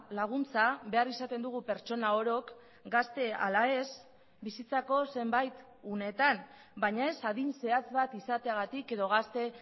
laguntza behar izaten dugu pertsona orok gazte ala ez bizitzako zenbait unetan baina ez adin zehatz bat izateagatik edo gazte